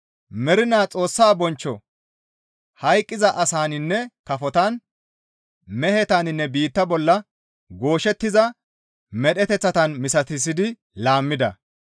Mernaa Xoossa bonchcho hayqqiza asaninne kafotan; mehetaninne biitta bolla gooshettiza medheteththatan misatissidi laammida.